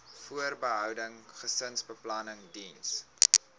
voorbehoeding gesinsbeplanning diens